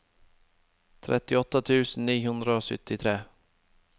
trettiåtte tusen ni hundre og syttitre